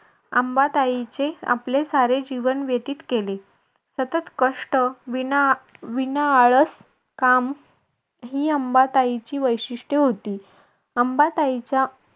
अंबाताईचे आपले सारे जीवन व्यतीत केले सतत कष्ट विना विना आळस काम ही अंबाताईची वैशिष्ट्ये होती. अंबाताईचा